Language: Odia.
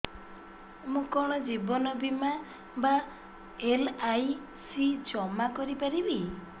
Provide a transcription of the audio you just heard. ମୁ କଣ ଜୀବନ ବୀମା ବା ଏଲ୍.ଆଇ.ସି ଜମା କରି ପାରିବି